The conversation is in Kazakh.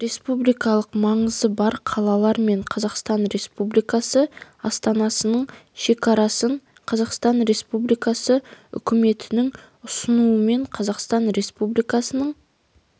республикалық маңызы бар қалалар мен қазақстан республикасы астанасының шекарасын қазақстан республикасы үкіметінің ұсынуымен қазақстан республикасының